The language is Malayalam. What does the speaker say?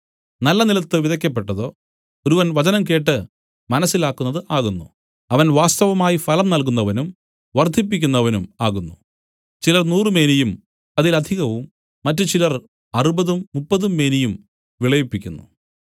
നല്ല നിലത്തു വിതയ്ക്കപ്പെട്ടതോ ഒരുവൻ വചനം കേട്ട് മനസ്സിലാക്കുന്നത് ആകുന്നു അവൻ വാസ്തവമായി ഫലം നൽകുന്നവനും വർദ്ധിപ്പിക്കുന്നവനും ആകുന്നു ചിലർ നൂറുമേനിയും അതിലധികവും മറ്റുചിലർ അറുപതും മുപ്പതും മേനിയും വിളയിപ്പിക്കുന്നു